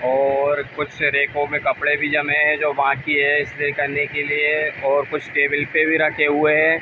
और कुछ से रेकों में कपड़े भी जमे हैं जो बाकि है इस्त्री करने के लिए और कुछ टेबल पे भी रखे हुए हैं।